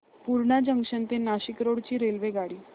Purna junction ते Nashik road ची रेल्वेगाडी